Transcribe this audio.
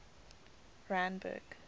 randburg